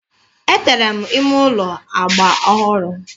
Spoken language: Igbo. Etere m ime ụlọ agba ọhụrụ.